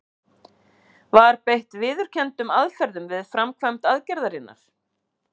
Var beitt viðurkenndum aðferðum við framkvæmd aðgerðarinnar?